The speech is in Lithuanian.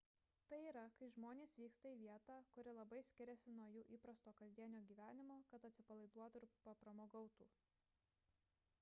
tai yra kai žmonės vyksta į vietą kuri labai skiriasi nuo jų įprasto kasdienio gyvenimo kad atsipalaiduotų ir papramogautų